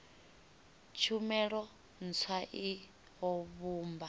tshumelo ntswa i o vhumba